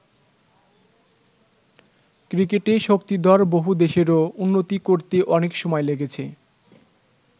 ক্রিকেটে শক্তিধর বহু দেশেরও উন্নতি করতে অনেক সময় লেগেছে।